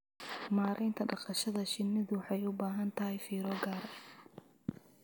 Maareynta dhaqashada shinnidu waxay u baahan tahay fiiro gaar ah.